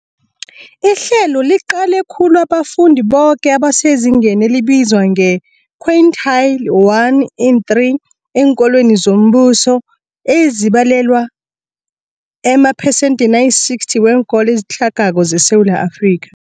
Ihlelo liqale khulu abafundi boke abasezingeni elibizwa nge-quintile 1-3 eenkolweni zombuso, ezibalelwa emaphesenthini ayi-60 weenkolo ezitlhagako zeSewula Afrika.